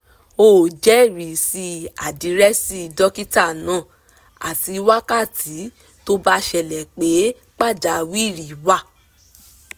ó jẹ́risí àdìrẹ́sí dókítà náà àti wákàtí tó bá ṣẹlẹ̀ pé pàjáwìrì wà